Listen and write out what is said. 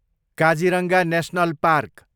Kaziranga national park